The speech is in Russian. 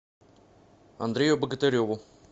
андрею богатыреву